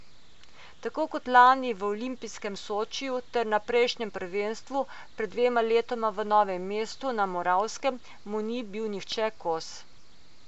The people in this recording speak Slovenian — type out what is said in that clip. Tako kot lani v olimpijskem Sočiju ter na prejšnjem prvenstvu, pred dvema letoma v Novem Mestu na Moravskem, mu ni bil nihče kos.